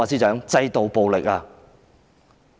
是制度暴力。